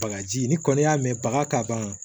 Bagaji ni kɔni y'a mɛn baga ka ban